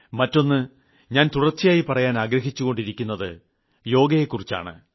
മറ്റൊന്ന് ഞാൻ തുടർച്ചയായി പറയാനാഗ്രഹിച്ചുകൊണ്ടിരിക്കുന്നത് യോഗയെക്കുറിച്ചാണ്